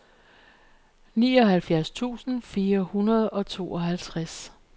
nioghalvfjerds tusind fire hundrede og tooghalvtreds